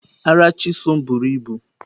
Ara Chisom buru ibu.